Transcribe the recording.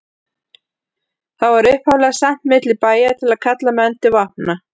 Það var upphaflega sent milli bæja til að kalla menn til vopna.